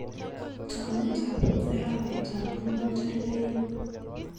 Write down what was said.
Taunetap arawetap ang'wan tarik aeng'.